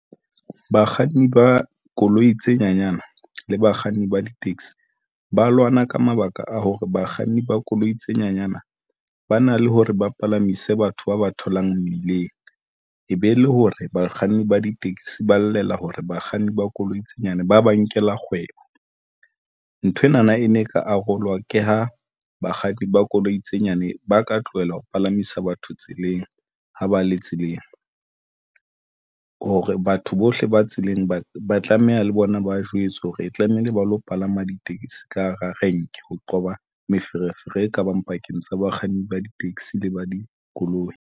Bakganni ba koloi tse nyanyana le bakganni ba di-taxi ba lwana, ka mabaka a hore bakganni ba koloi tse nyenyana ba na le hore ba palamise batho ba ba tholang mmileng, e be, le hore bakganni ba ditekesi ba llela hore bakganni ba koloi tse nyane ba ba nkela kgwebo. Nthwena na e ne ka arolwa ke ho bakganni ba koloi tse nyane ba ka tlohela ho palamisa batho tseleng. Ho ba le tseleng hore batho bohle ba tseleng ba ba tlameha le bona, ba jwetsa hore tlamehile ba lo palama ditekesi ka hara renke, ho qoba meferefere e kabang pakeng tsa bakganni ba di-taxi le ba dikoloi.